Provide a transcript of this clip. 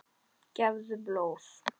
Gefðu blóð.